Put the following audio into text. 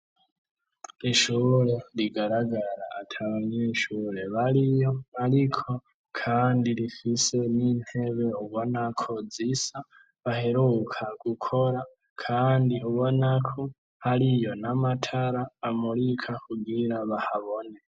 Ishure rigaragara ata banyeshure bariyo ariko kandi rifise n'intebe ubona ko zisa baheruka gukora kandi ubonako hariyo n'amatara amurika kugira bahabone.